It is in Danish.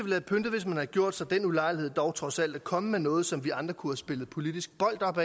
have pyntet hvis man havde gjort sig den ulejlighed dog trods alt at komme med noget som vi andre kunne have spillet politisk bold op